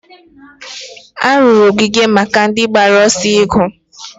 a rụrụ ogige maka ndị gbara ọsọ iju